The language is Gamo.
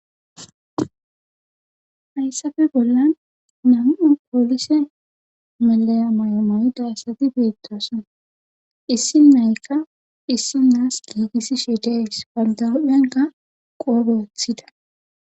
Hayssafe bolla nam77u poolise melleya mayo mayida asati beettoosona issinnayka issinaas giigisihe de7ees bantta huuphenkka qoobe wothida.